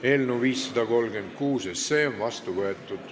Eelnõu 536 on seadusena vastu võetud.